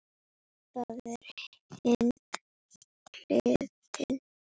Það er hin hliðin.